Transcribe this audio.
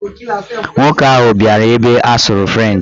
Nwoke ahụ bịara ebe a sụrụ frenchị